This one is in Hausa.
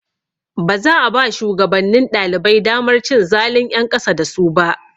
Baza a ba shugabannin ɗalibai damar cin zalun ƴan ƙasa da su ba.